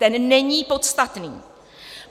Ten není podstatný.